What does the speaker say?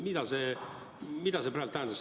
Mida see praegu tähendas?